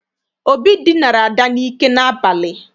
Obi dinara Ada n'ike n'abalị.